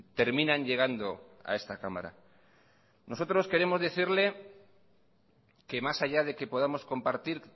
terminan llegando a esta cámara nosotros queremos decirle que más allá de que podamos compartir